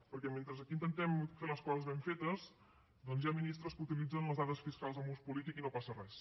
perquè mentre aquí intentem fer les coses ben fetes doncs hi ha ministres que utilitzen les dades fiscals amb ús polític i no passa res